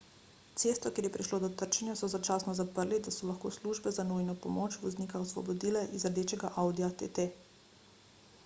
cesto kjer je prišlo do trčenja so začasno zaprli da so lahko službe za nujno pomoč voznika osvobodile iz rdečega audija tt